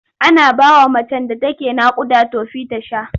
Ana bawa macen da take naƙuda tofi ta sha.